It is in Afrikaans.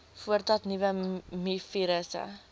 voordat nuwe mivirusse